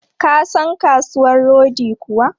Ka san kasuwan rodi kuwa?